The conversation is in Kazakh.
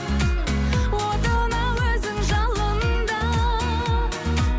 отына өзің жалында